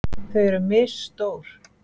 Þau eru misstór.